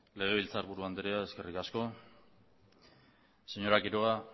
legebiltzarburu andrea eskerrik asko señora quiroga